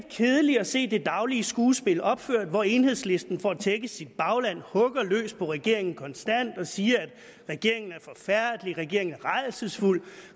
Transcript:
kedeligt at se det daglige skuespil opført hvor enhedslisten for at tække sit bagland hugger løs på regeringen konstant og siger at regeringen er forfærdelig regeringen er rædselsfuld